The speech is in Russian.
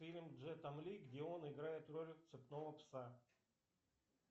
фильм с джетом ли где он играет роль цепного пса